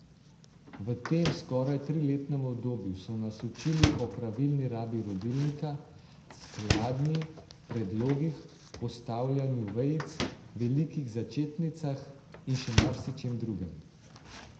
V tem skoraj triletnem obdobju so nas učili o pravilni rabi rodilnika, skladnji, predlogih, postavljanju vejic, velikih začetnicah in še marsičem drugem.